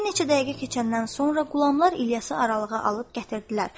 Bir neçə dəqiqə keçəndən sonra qulamlar İlyası aralığa alıb gətirdilər.